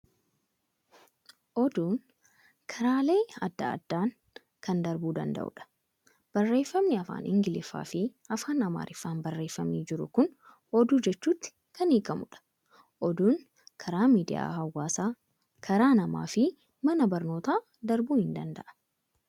Oduun karaalee adda addaan kan darbuu danda'u dha. Barreeffamni afaan Ingiliffaa fi Afaan Amaariffaan baarreeffamee jiru kun Oduu jechutti kan hiikamudha. Oduun karaa miidiyaa hawaasaa, karaa namaa fi mana barnootaa darbuu ni danda'a.